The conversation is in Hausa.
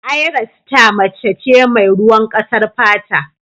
Ayra sita mace ce mai ruwan ƙasar fata.